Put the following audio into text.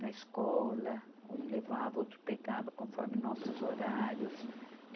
na escola, um levava, outro pegava conforme nossos horários.